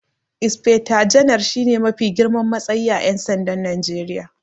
Inaifecta Ganar shi ne mafi girman matsayi a Ƴan sandan Najeriya.